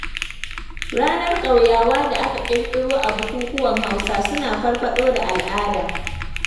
Ranar ƙauyawa da aka ƙiƙiro a bukukuwan Hausawa, suna farfaɗo da al'ada.